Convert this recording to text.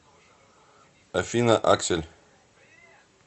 афина аксель